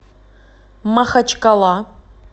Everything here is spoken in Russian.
махачкала